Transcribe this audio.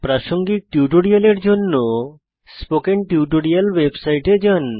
প্রাসঙ্গিক টিউটোরিয়ালের জন্য স্পোকেন টিউটোরিয়াল ওয়েবসাইটে যান